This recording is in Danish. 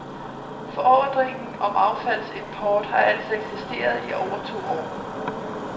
Forordningen om affaldsimport har altså eksisteret i over to år.